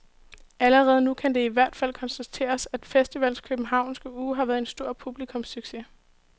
Allerede nu kan det i hvert fald konstateres, at festivalens københavnske uge har været en stor publikumssucces.